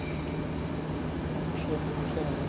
ਅੱਛਾ ਚਲੋ